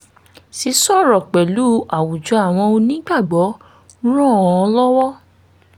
sísọ̀rọ̀ pẹ̀lú àwùjọ àwọn onígbàgbọ́ ràn án lọ́wọ́